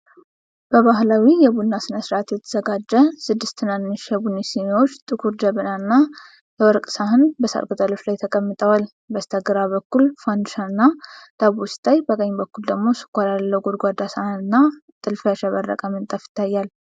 በባህላዊ የቡና ሥነ-ሥርዓት የተዘጋጀ ። ስድስት ትናንሽ የቡና ሲኒዎች፣ ጥቁር ጀበና እና የወርቅ ሳህን በሣር ቅጠሎች ላይ ተቀምጠዋል። በስተግራ በኩል ፋንዲሻና ዳቦ ሲታይ፣ በቀኝ በኩል ደግሞ ስኳር ያለው ጎድጓዳ ሳህንና ጥልፍ ያሸበረቀ ምንጣፍ ይታያል።